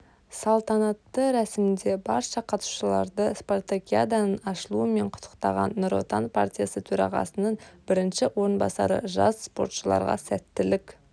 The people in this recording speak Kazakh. салтанатты рәсімде барша қатысушыларды спартакиаданың ашылуымен құттықтаған нұр отан партиясы төрағасының бірінші орынбасары жас спортшыларға сәттілік